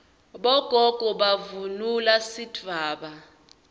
bogogo bavunula sidvwaba